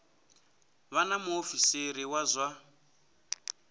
vha na muofisiri wa zwa